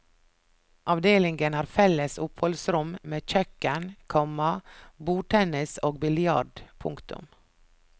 Avdelingen har felles oppholdsrom med kjøkken, komma bordtennis og biljard. punktum